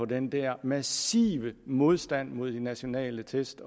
den der massive modstand mod de nationale test